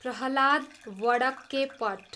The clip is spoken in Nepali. प्रह्लाद वडक्केपट